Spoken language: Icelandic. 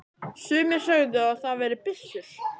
Sumir sögðu að það væri byssur.